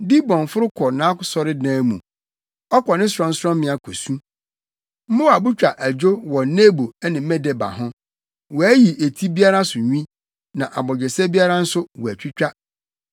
Dibon foro kɔ nʼasɔredan mu, ɔkɔ ne sorɔnsorɔmmea kosu; Moab twa adwo wɔ Nebo ne Medeba ho. Wɔayi eti biara so nwi na abogyesɛ biara nso wɔatwitwa.